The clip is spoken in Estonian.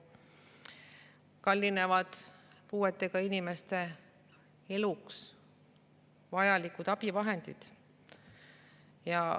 Kallinevad puuetega inimeste eluks vajalikud abivahendid.